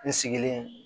N sigilen